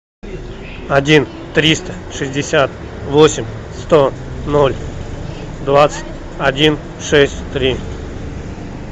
один триста шестьдесят восемь сто ноль двадцать один шесть три